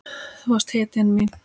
Þú varst hetjan mín.